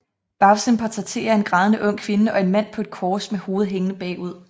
Bagsiden portrætterer en grædende ung kvinde og en mand på et kors med hovedet hængende bagud